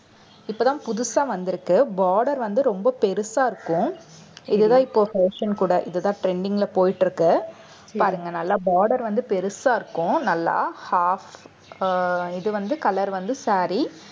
இப்பதான் புதுசா வந்திருக்கு. border வந்து ரொம்ப பெருசா இருக்கும் இதுதான் இப்போ fashion கூட இதுதான் trending ல போயிட்டு இருக்கு. பாருங்க நல்லா border வந்து பெருசா இருக்கும் நல்லா half அஹ் இது வந்து color வந்து saree